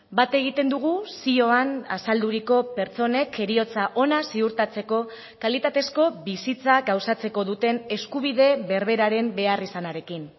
bat egiten dugu zioan azalduriko pertsonek heriotza ona ziurtatzeko kalitatezko bizitza gauzatzeko duten eskubide berberaren beharrizanarekin